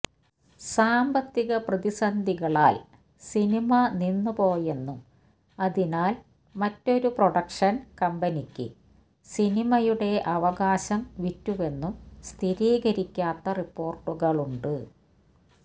സാമ്പത്തിക പ്രതിസന്ധികളാല് സിനിമ നിന്നു പോയെന്നും അതിനാല് മറ്റൊരു പ്രൊഡക്ഷന് കമ്പനിക്ക് സിനിമയുടെ അവകാശം വിറ്റുവെന്നും സ്ഥിരീകരിക്കാത്ത റിപ്പോര്ട്ടുകളുണ്ട്